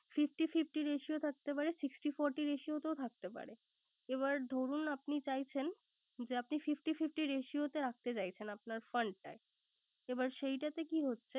Fifty fifty ratio থাকতে পারে, Sixty forty ratio তেও থাকতে পারে। এবার ধরুন আপনি চাইছেন যে fifty fifty ratio তে আসতে চাইছেন, আপনার fund টায় এবার সেই টা তে কি হচ্ছে